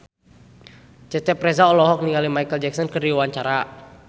Cecep Reza olohok ningali Micheal Jackson keur diwawancara